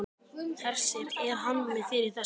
Hersir: Er hann með þér í þessu?